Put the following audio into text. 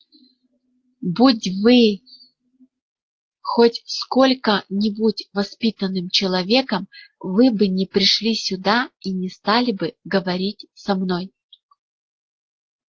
будь вы хоть сколько-нибудь воспитанным человеком вы бы не пришли сюда и не стали бы говорить со мной